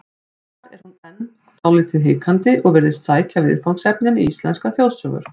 Þar er hún enn dálítið hikandi og virðist sækja viðfangsefnin í íslenskar þjóðsögur.